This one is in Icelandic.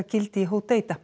gildi í